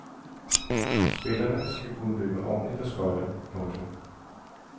Spillerne skal kunne løbe ordentlig på skøjter. punktum